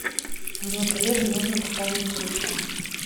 моему коллеге нужно пополнить телефон